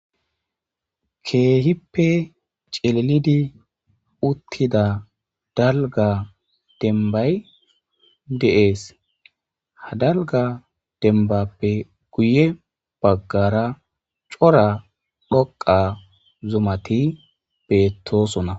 keehippe celelidi uttida dalga dembay deees hadalga dembappe guye baggara cora dhoqa zumati beettoosona